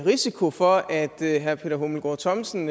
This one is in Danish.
risiko for at herre peter hummelgaard thomsen